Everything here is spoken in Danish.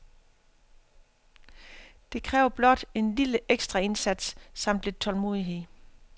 Det kræver blot en lille ekstraindsats samt lidt tålmodighed.